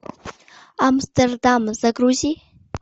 амстердам загрузи